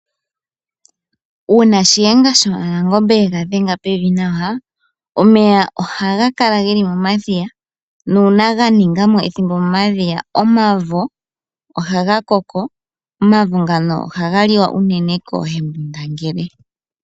Uuna Shiyenga shaNangombe yega dhenga pevi nawa omeya ohaga kala geli momadhiya nuuna ganinga mo ethimbo momadhiya omavo ohaga koko. Omavo ngano ohaga liwa unene koohembundangele.